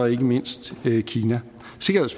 ikke mindst kina